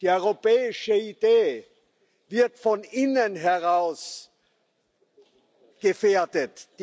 Die europäische Idee wird von innen heraus gefährdet.